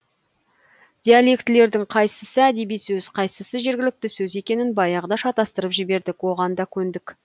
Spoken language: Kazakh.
диалектілердің қайсысы әдеби сөз қайсысы жергілікті сөз екенін баяғыда шатастырып жібердік оған да көндік